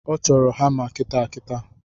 Ọ chọro hama kitaakitaa